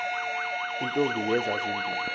iintombi eziya zimbini